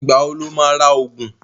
Ìgbà wo lo má ra ògùn?